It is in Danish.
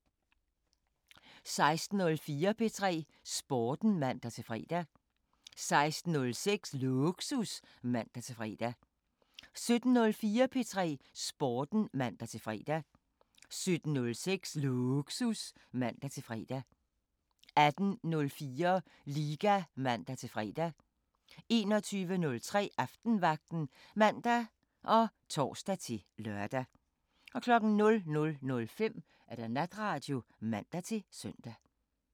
16:04: P3 Sporten (man-fre) 16:06: Lågsus (man-fre) 17:04: P3 Sporten (man-fre) 17:06: Lågsus (man-fre) 18:04: Liga (man-fre) 21:03: Aftenvagten (man og tor-lør) 00:05: Natradio (man-søn)